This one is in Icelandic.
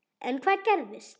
En hvað gerist.